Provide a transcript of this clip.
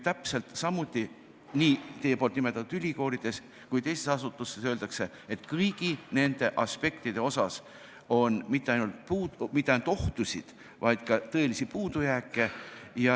Samas öeldakse nii teie nimetatud ülikoolides kui ka teistes asutustes, et kõigi nende aspektide osas ei esine mitte ainult ohtusid, vaid ka tõelisi puudujääke.